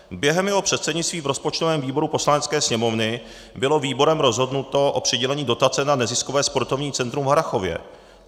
Během jeho předsednictví v rozpočtovém výboru Poslanecké sněmovny bylo výborem rozhodnuto o přidělení dotace na neziskové sportovní centrum v Harrachově.